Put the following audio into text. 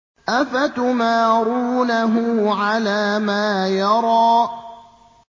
أَفَتُمَارُونَهُ عَلَىٰ مَا يَرَىٰ